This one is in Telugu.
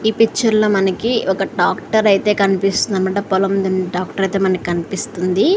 ఈ పిక్చర్ లో మనకి ఒక ట్రాక్టర్ అయితే కనిపిస్తోంది అన్నమాట పొలం దున్నే ట్రాక్టర్ అయితే మనకు కనిపిస్తుంది.